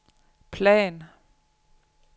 plan